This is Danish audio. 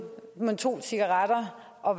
mentolcigaretter og